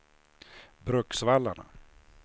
Bruksvallarna